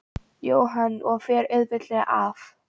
Jóhann: Og fer auðveldlega af?